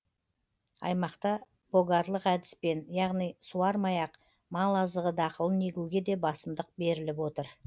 аймақта богарлық әдіспен яғни суармай ақ мал азығы дақылын егуге де басымдық беріліп отыр